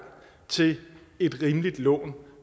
til et rimeligt lån